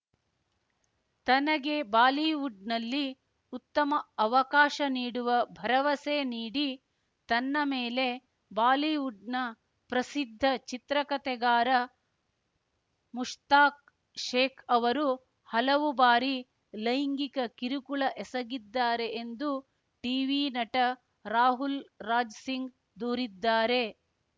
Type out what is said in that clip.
ತನಗೆ ಬಾಲಿವುಡ್‌ನಲ್ಲಿ ಉತ್ತಮ ಅವಕಾಶ ನೀಡುವ ಭರವಸೆ ನೀಡಿ ತನ್ನ ಮೇಲೆ ಬಾಲಿವುಡ್‌ನ ಪ್ರಸಿದ್ಧ ಚಿತ್ರಕಥೆಗಾರ ಮುಷ್ತಾಕ್‌ ಶೇಖ್‌ ಅವರು ಹಲವು ಬಾರಿ ಲೈಂಗಿಕ ಕಿರುಕುಳ ಎಸಗಿದ್ದಾರೆ ಎಂದು ಟೀವಿ ನಟ ರಾಹುಲ್‌ ರಾಜ್‌ ಸಿಂಗ್‌ ದೂರಿದ್ದಾರೆ